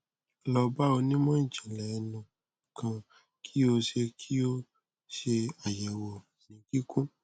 lọ ba onimọ ijinlẹ ẹnu kan ki o ṣe ki o ṣe ayẹwo ni kikun